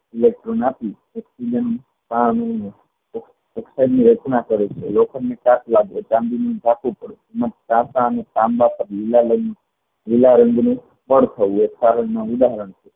electron નાખી રચના કરે છે તાંમ્બા પેર લીલા લીલા રંગ ની પેડ થયી